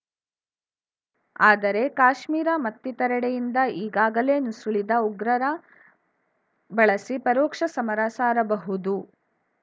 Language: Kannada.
ಆದರೆ ಕಾಶ್ಮೀರ ಮತ್ತಿತರೆಡೆಯಿಂದ ಈಗಾಗಲೇ ನುಸುಳಿದ ಉಗ್ರರ ಬಳಸಿ ಪರೋಕ್ಷ ಸಮರ ಸಾರಬಹುದು